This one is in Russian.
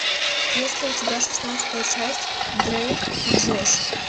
есть ли у тебя шестнадцатая часть дрейк и джош